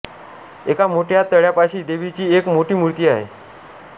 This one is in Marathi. एका मोठ्या तळ्यापाशी देवीची एक मोठी मूर्ती आहे